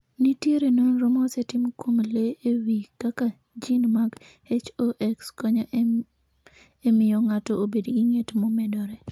Nitiere nonro mosetim kuom le e wi kaka gene mag HOX konyo e miyo ng'ato obed gi ng'et momedore.